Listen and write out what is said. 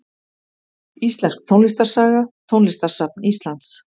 Íslensk tónlistarsaga Tónlistarsafn Íslands.